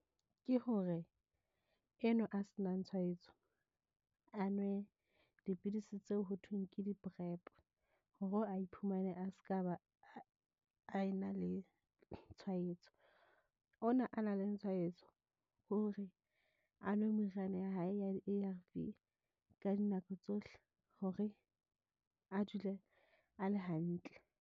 Ke hore enwa a senang tshwaetso, a nwe dipidisi tseo ho thweng ke di- PrEP hore a iphumane a se ka ba a ena le tshwaetso. Ona a na leng tshwaetso ho re a nwe meriana ya hae ya di-A_R_V ka dinako tsohle hore a dule a le hantle.